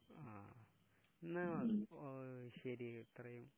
ങാ..എന്നാ ശരി, ഇത്രയും...